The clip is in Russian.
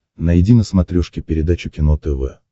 найди на смотрешке передачу кино тв